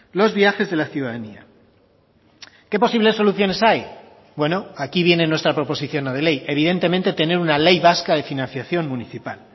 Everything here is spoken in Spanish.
los viajes de la ciudadanía qué posibles soluciones hay bueno aquí viene nuestra proposición no de ley evidentemente tener una ley vasca de financiación municipal